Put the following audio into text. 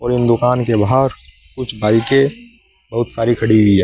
इन दुकान के बाहर कुछ बाईकें बहुत सारी खड़ी हुई है।